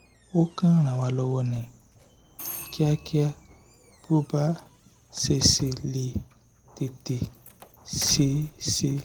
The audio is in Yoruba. o kàn ràn wá lọ́wọ́ ní kíákíá bí ó bá ṣe ṣe lè tètè ṣe é ṣe